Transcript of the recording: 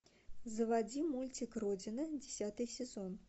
заводи мультик родина десятый сезон